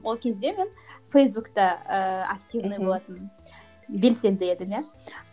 ол кезде мен фейсбукте ііі активный болатынмын белсенді едім иә